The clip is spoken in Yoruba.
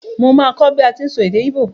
Mo máa kó bi a ti n sọ èdè igbo